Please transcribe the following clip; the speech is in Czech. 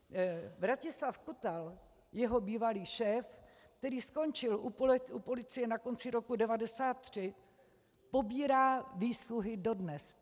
Vratislav Kutal, jeho bývalý šéf, který skončil u policie na konci roku 1993, pobírá výsluhy dodnes.